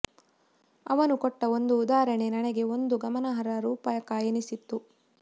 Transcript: ಅವನು ಕೊಟ್ಟ ಒಂದು ಉದಾಹರಣೆ ನನಗೆ ಒಂದು ಗಮನಾರ್ಹ ರೂಪಕ ಎನ್ನಿಸಿತು